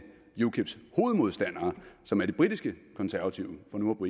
ukips hovedmodstandere som er de britiske konservative for nu